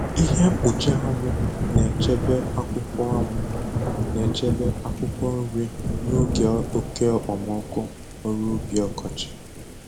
Ihe mkpuchi anwụ na-echebe akwụkwọ anwụ na-echebe akwụkwọ nri n’oge oke okpomọkụ ọrụ ubi ọkọchị